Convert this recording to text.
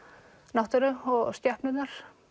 náttúru og skepnurnar